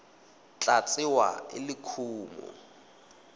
tla tsewa e le kumo